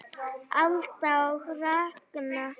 Alda og Ragnar.